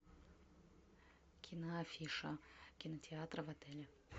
киноафиша кинотеатра в отеле